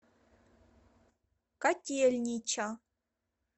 котельнича